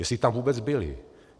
Jestli tam vůbec byly.